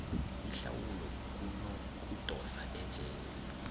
ihlawulo kunokudosa ejele